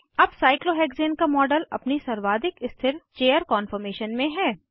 अब साइक्लोहेक्सेन का मॉडल अपनी सर्वाधिक स्थिर चेयर कान्फॉर्मेशन में है